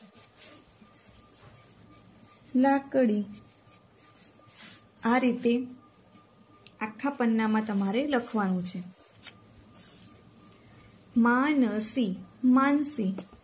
લાકડીઆ રીતે આખા પન્નામાં તમારે લખવાનું છે માનશી